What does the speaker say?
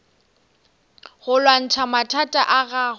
go lwantšha mathata a gago